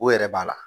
O yɛrɛ b'a la